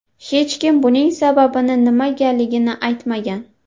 Hech kim buning sababini, nimagaligini aytmagan.